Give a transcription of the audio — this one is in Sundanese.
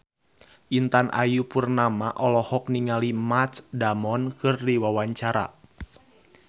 Intan Ayu Purnama olohok ningali Matt Damon keur diwawancara